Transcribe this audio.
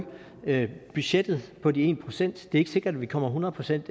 budgettet på den ene procent det er ikke sikkert vi kommer hundrede procent